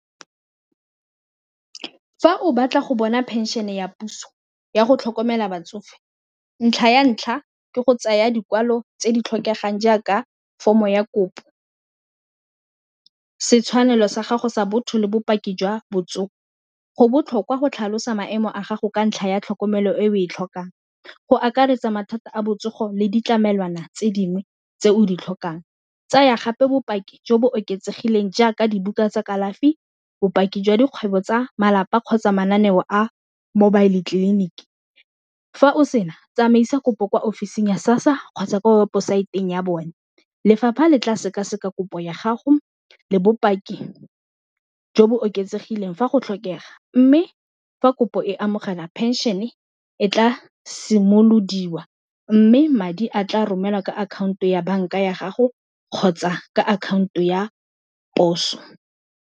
Fa o batla go bona phenšene ya puso ya go tlhokomela batsofe ntlha ya ntlha ke go tsaya dikwalo tse di tlhokegang jaaka form-o ya kopo setshwanelo sa gago sa botho le bopaki jwa botsogo, go botlhokwa go tlhalosa maemo a gago ka ntlha ya tlhokomelo e o e tlhokang, go akaretsa mathata a botsogo le ditlamelwana tse dingwe tse o di tlhokang, tsaya gape bopaki jo bo oketsegileng jaaka dibuka tsa kalafi, bopaki jwa dikgwebo tsa malapa kgotsa mananeo a mobile tleliniki fa o sena tsamaisa kopo kwa offisi ya SASSA kgotsa ko weposaeteng ya bone, lefapha le tla sekaseka kopo ya gago le bopaki jo bo oketsegileng fa go tlhokega, mme fa kopo e amogela phenšene e tla simolodiwa mme madi a tla romelwa ka akhaonto ya banka ya gago kgotsa ka akhaonto ya poso.